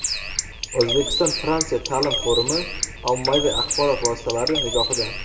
O‘zbekiston-Fransiya ta’lim forumi ommaviy axborot vositalari nigohida.